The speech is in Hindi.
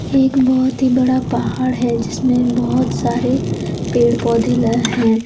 ये एक बहुत ही बड़ा पहाड़ है जिसमें बहुत सारे पेड़ पौधे ल हैं।